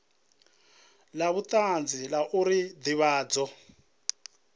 la vhutanzi la uri ndivhadzo